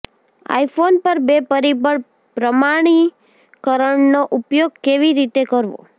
iPhone પર બે પરિબળ પ્રમાણીકરણનો ઉપયોગ કેવી રીતે કરવો